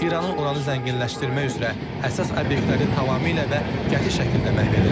İranın uranı zənginləşdirmək üzrə əsas obyektləri tamamilə və qəti şəkildə məhv edilib.